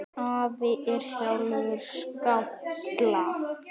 Afi er sjálfur skáld.